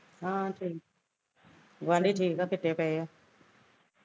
ਹਾਂ ਠੀਕ ਗੁਆਡੀ ਠੀਕ ਆ ਸੁੱਤੇ ਪਏ ਆ